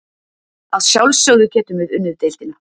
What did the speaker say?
Að sjálfsögðu getum við unnið deildina.